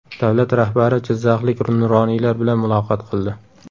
Davlat rahbari jizzaxlik nuroniylar bilan muloqot qildi.